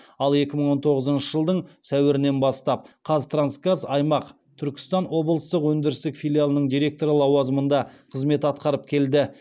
ал екі мың он тоғызыншы жылдың сәуірінен бастап қазтрансгаз аймақ түркістан облыстық өндірістік филиалының директоры лауазымында қызмет атқарып келді